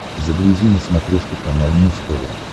загрузи на смотрешке канал муз тв